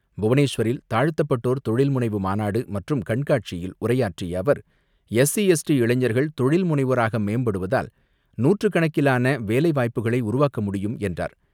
புவனேஸ்வரில் தாழ்த்தப்பட்டோர் தொழில்முனைவு மாநாடு மற்றும் கண்காட்சியில் உரையாற்றிய அவர் எஸ்சி எஸ்டி இளைஞர்கள் தொழில்முனைவோராக மேம்படுவதால் நூற்றுக் கணக்கிலான வேலை வாய்ப்புகளை உருவாக்க முடியும் என்றார்.